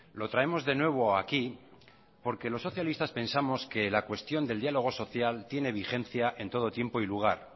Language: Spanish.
lo traemos de nuevo aquí porque los socialistas pensamos que la cuestión del diálogo social tiene vigencia en todo tiempo y lugar